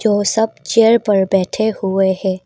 वो सब चेयर पर बैठे हुए हैं।